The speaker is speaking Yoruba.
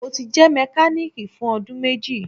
Mo ti jẹ mekaniki fun ọdun meji